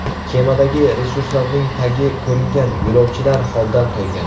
Kemadagi resurslarning tagi ko‘ringan, yo‘lovchilar holdan toygan.